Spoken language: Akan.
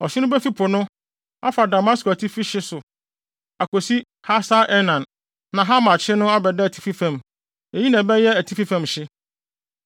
Ɔhye no befi po no, afa Damasko atifi fam hye so akosi Hasar-Enan na Hamat hye no abɛda atifi fam. Eyi na ɛbɛyɛ atifi fam hye.